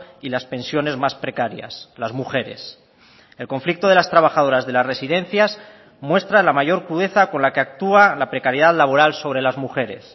y las pensiones más precarias las mujeres el conflicto de las trabajadoras de las residencias muestra la mayor crudeza con la que actúa la precariedad laboral sobre las mujeres